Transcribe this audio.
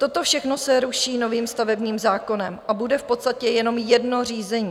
Toto všechno se ruší novým stavebním zákonem a bude v podstatě jenom jedno řízení.